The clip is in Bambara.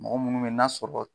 Mɔgɔ munnu be yen n'a sɔrɔ